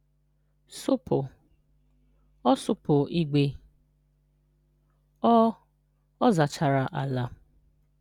Sụ́pụ̀- ọ sụ́pụ̀ ìgwè. (Ọ / ọ zachara ala)